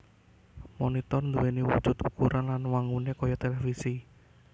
Monitor nduwèni wujud ukuran lan wanguné kaya télévisi